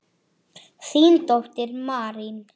Þín dóttir, Marín.